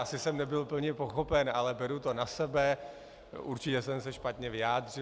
Asi jsem nebyl plně pochopen, ale beru to na sebe, určitě jsem se špatně vyjádřil.